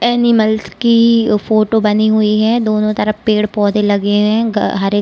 animals की photo बनी हुई है दोनों तरफ पेड़-पौधे लगे हुए हरे --